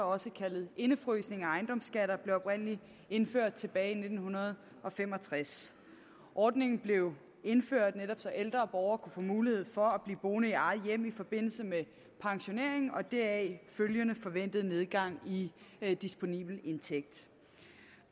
også kaldet indefrysning af ejendomsskatter blev oprindelig indført tilbage i nitten fem og tres ordningen blev indført netop så ældre borgere kunne få mulighed for at blive boende i eget hjem i forbindelse med pensioneringen og den deraf følgende forventede nedgang i disponibel indtægt